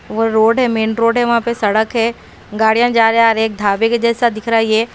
और रोड है main road है वहा पे सड़क है गाड़िया जा री आ री एक ढाबे के जैसा दिख रा है ये --